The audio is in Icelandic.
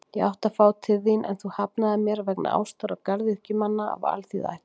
Ég átti að fá þín, en þú hafnaðir mér vegna ástar á garðyrkjumanni af alþýðuættum.